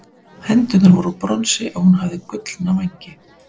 hendurnar voru úr bronsi og hún hafði gullna vængi